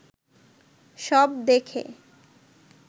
সব দেখে